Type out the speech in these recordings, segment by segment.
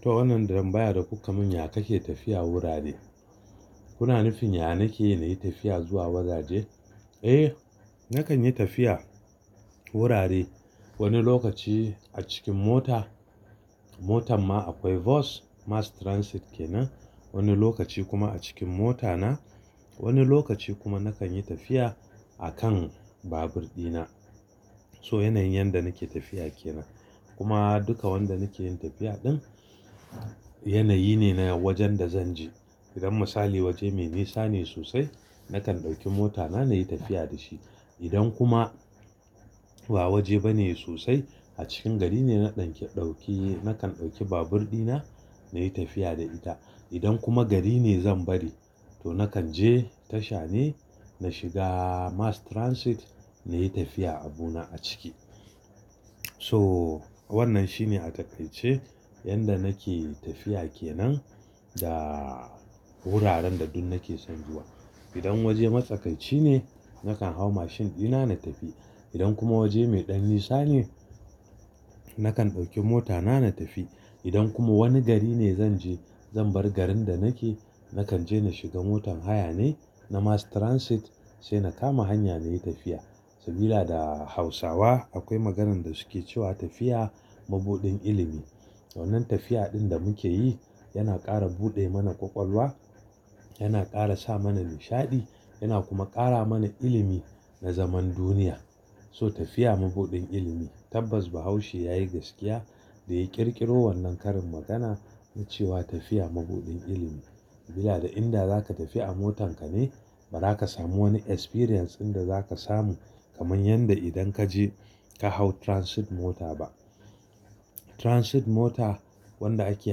To wannan tambaya da kuka mun ya kake tafiya wurare? Kuna nufin ya nake nayi tafiya zuwa wajaje? Eh nakan yi tafiya wurare, wani lokaci a cikin mota, motan ma akwai bus, mass transit kenan, Wani lokaci kuma a cikin mota na, wani lokaci kuma nakan yi tafiya a kan babur ɗina. To yanayin yanda nake tafiya kenan, kuma duka wanda nake yin tafiya ɗin, yanayi ne na wajen da zan je. Idan misali waje mai nisa ne sosai nakan ɗauki mota na nayi tafiya da shi. Idan kuma, ba waje bane sosai a cikin gari ne na ɗauke, ɗauki, nakan ɗauki babur ɗina na yi tafiya da ita, idan kuma gari ne zan bari, to nakan je tasha ne na shiga mass transit, na yi tafiya abu na a ciki. Toh, wannan shine a taƙaice, yanda nake tafiya kenan, da wuraren da duk nake son zuwa. Idan waje matsakaici ne nakan hau mashin ɗina na tafi, idan kuma waje mai ɗan nisa ne, nakan ɗauki mota na na tafi, idan kuma wani gari ne zan je, zan bar garin da nake, nakan je na shiga motar haya ne, na mass transit sai na kama hanya na yi tafiya. Sabila da Hausawa, akwai maganan da suke cewa tafiya mabuɗin ilimi. Wannan tafiya ɗin da muke yi, yana ƙara buɗe mana kwakwalwa, yana ƙara sa mana nishaɗi, yana kuma ƙara mana ilimi na zaman duniya. So tafiya mabuɗin ilimi, tabbas Bahaushe yayi gaskiya da ya ƙirƙiro wannan karin magana, na cewa "tafiya mabuɗin ilimi". Sabila da inda zaka tafi a motan ka ne, ba zaka samu wani experience inda zaka samu kamar yadda idan kaje ka hau transit mota ba. Transit mota wanda ake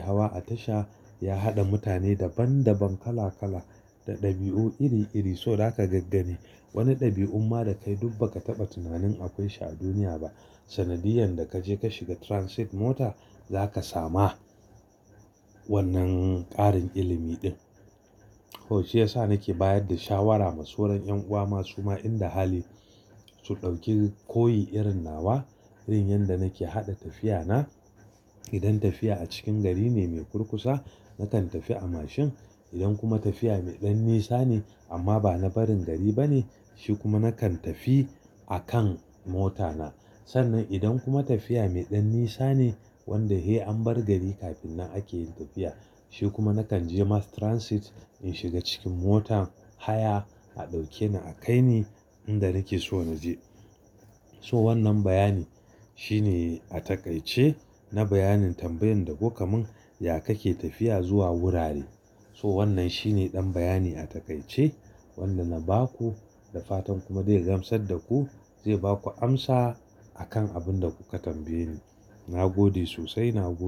hawa a tasha ya haɗa mutane daban daban, kala kala, da ɗabi'u iri iri. To zaka gaggani, wani ɗabi'un ma da kai duk ba ka taɓa tunanin akwai shi a duniya ba, sanadiyan da kaje ka shiga transit mota zaka sama, wannan ƙarin ilimi ɗin. To shi yasa nake bayar da shawara ma sauran 'yan uwa ma su ma inda hali, su ɗauki koyi irin nawa, Irin yadda nake haɗa tafiya na, idan tafiya a cikin gari ne mai kurkusa nakan tafi a mashin, idan kuma tafiya mai ɗan nisa ne amma bana barin gari bane shi kuma nakan tafi a kan mota na. Sannan idan kuma tafiya mai ɗan nisa ne wanda sai an bar gari kafin nan ake yin tafiya, shi kuma nakan je mass transit, in shiga cikin motar haya a ɗauke ni a kai ni inda nake so na je. To wannan bayani, shine a taƙaice na bayanin tambayan da kuka mun, ya kake tafiya zuwa wurare? To wannan shine ɗan bayani a taƙaice wanda na ba ku. Da fatan kuma zai gamsar da ku, zai ba ku amsa akan abun da kuka tambaye ni. Na gode sosai, na gode.